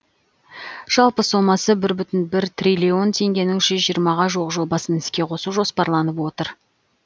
жалпы сомасы бір бүтін бір триллион теңгенің жүз жиырмаға жуық жобасын іске қосу жоспарланып отыр